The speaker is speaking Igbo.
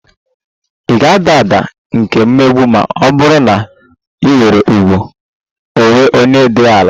Ị ga-ada ada nke mmegbu ma ọ bụrụ na ị nwere ùgwù onwe onye dị ala